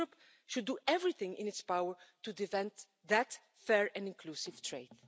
And Europe should do everything in its power to defend that fair and inclusive trade.